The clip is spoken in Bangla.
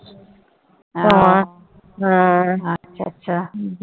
হ্যাঁ হ্যাঁ আচ্ছা আচ্ছা।